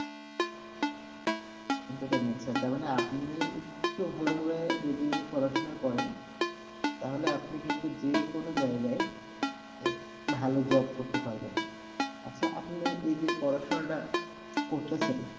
এখন যেটা তার মানে আপনি একটু ভালোভাবে যদি পড়াশোনা করেন, তাহলে আপনি কিন্তু যে কোনো জায়গায় আহ ভালো job করতে পারবেন। আচ্ছা আপনি এই যে পড়াশোনাটা করতাসেন,